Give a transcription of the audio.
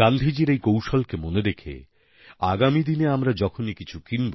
গান্ধীজীর এই কৌশলকে মনে রেখে আগামীদিনে আমরা যখনই কিছু কিনব